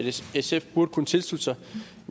sf burde kunne tilslutte sig